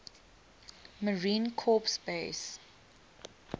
marine corps base